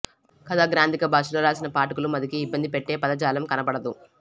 కథ గ్రాంథిక భాషలో రాసినా పాఠకుల మదికి ఇబ్బందిపెట్టే పదజాలం కనపడదు